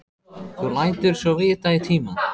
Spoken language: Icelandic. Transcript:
Þú lætur svo vita í tíma.